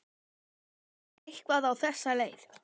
Kaflinn var eitthvað á þessa leið: